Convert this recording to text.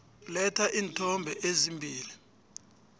letha iinthombe ezimbili